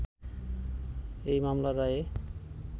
এই মামলার রায়ে